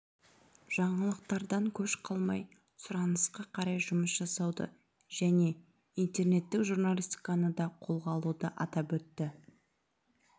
жаңалықтардан көш қалмай сұранысқа қарай жұмыс жасауды және интернеттік журналистиканы да қолға алуды атап өтті